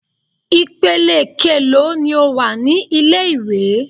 Ìpele keèló ni ó wà ní ilé ìwé?